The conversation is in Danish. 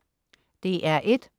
DR1: